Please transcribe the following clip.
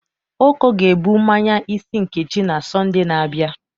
Oko ga-ebụ mmanye isi Nkechi na Sọnde na-abịa.